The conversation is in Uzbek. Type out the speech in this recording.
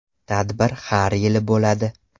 Tadbir har yili bo‘ladi.